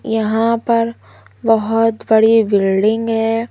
यहां पर बहोत बड़ी बिल्डिंग है।